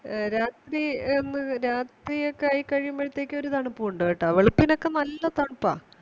A രാത്രി എന്ന രാത്രി ഒക്കെ ആയിക്കഴിയുമ്പഴത്തെക്ക് ഒരു തണുപ്പുണ്ട് കേട്ട വെളുപ്പിനൊക്കെ നല്ല തണുപ്പാ